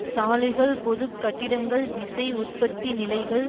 சாலைகள் பொது கட்டிடங்கள் விசை உற்பத்தி நிலைகள்